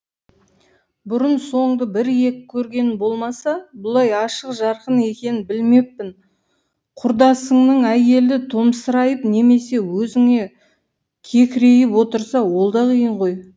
бұрын соңды бір екі көргенім болмаса бұлай ашық жарқын екенін білмеппін құрдасыңның әйелі томсырайып немесе өзіңе кекірейіп отырса ол да қиын ғой